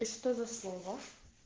и что за слово